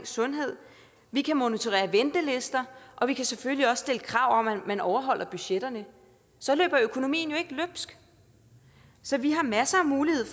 sundhed vi kan monitorere ventelister og vi kan selvfølgelig også stille krav om at man overholder budgetterne så løber økonomien jo ikke løbsk så vi har masser af muligheder